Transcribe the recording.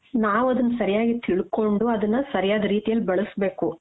ನಾವ್ ಅದುನ್ನ ಸರ್ಯಾಗೀ ತಿಳ್ಕೊಂಡು ಅದನ್ನ ಸರಿಯಾದ ರೀತಿಯಲ್ಲಿ ಬಳಸಬೇಕು.